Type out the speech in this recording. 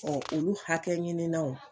Ɔ olu hakɛ ɲininnaw.